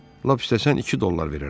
Lap istəsən iki dollar verərəm.